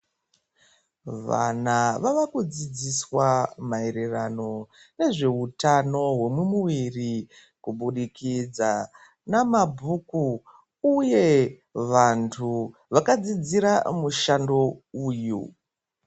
Vana vavakudzidziswa maererano nezveutano hwemumuviri kubudikidza nemabhuku uye vantu vakadzidzira mushando uyu.